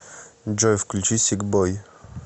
джой включи сик бой